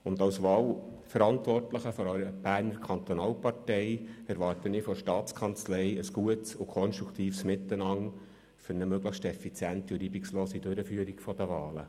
Als Wahlverantwortlicher einer Berner Kantonalpartei erwarte ich von der Staatskanzlei ein gutes und konstruktives Miteinander für eine möglichst effiziente und reibungslose Durchführung der Wahlen.